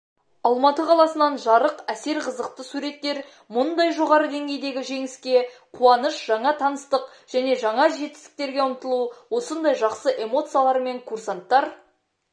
алматы қаласынан жарық әсер қызықты суреттер мұндай жоғары деңгейдегі жеңіске қуаныш жаңа таныстық және жаңа жетістіктерге ұмтылу осындай жақсы эмоциялармен курсанттар